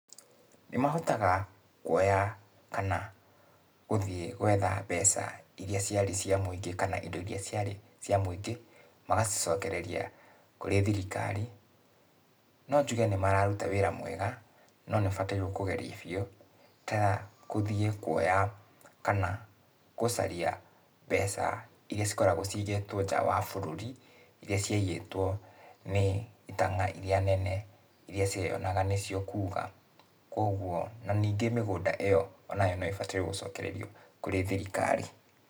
Nĩmahotaga kuoya kana gũthiĩ gwetha mbeca iria ciarĩ cia mũingĩ kana indo iria ciarĩ cia mũingĩ, magacicokereria kũrĩ thirikari. No njuge nĩmararuta wĩra mwega, no nĩũbatairũo kũgeria biũ, ta gũthiĩ kuoya, kana, gũcaria mbeca, iria cikoragũo cigĩtwo nja wa bũrũri, iria ciaiyĩtũo nĩ itanga iria nene, iria cieyonaga nĩcio kuga, kuoguo, na ningĩ mĩgũnda ĩyo onayo no ĩbatairũo gũcokererio kũrĩ thirikari.